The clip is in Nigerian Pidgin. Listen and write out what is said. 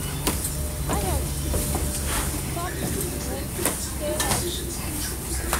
adults should stop eating when full stay healthy.